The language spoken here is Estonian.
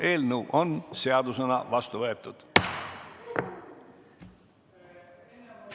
Eelnõu on seadusena vastu võetud.